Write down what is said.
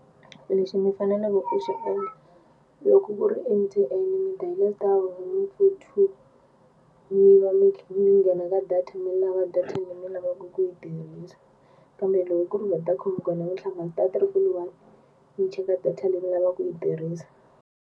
Lexi ni fanelaku ku xi endla loko ku ri M_T_N ni dial star one four two mi va mi mi nghena ka data mi lava data leyi mi lavaku ku yi tirhisa kambe loko ku ri Vodacom kona mi tlhava star triple one mi cheka data leyi mi lava ku yi tirhisa.